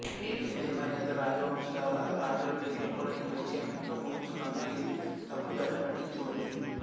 ఏదేమైనా ఇతర రాజవంశాల రాజుల పేర్లు కూడా ఈ ప్రత్యయంతో ముగుస్తున్నందున ఇది తప్పుదారి పట్టించవచ్చు